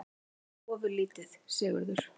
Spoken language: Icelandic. Eitthvað ofurlítið, Sigurður?